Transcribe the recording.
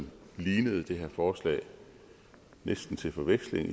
lignede det her forslag næsten til forveksling